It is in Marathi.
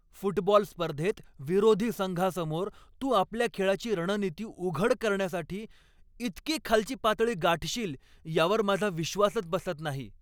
फुटबॉल स्पर्धेत विरोधी संघासमोर तू आपल्या खेळाची रणनीती उघड करण्यासाठी इतकी खालची पातळी गाठशील यावर माझा विश्वासच बसत नाही.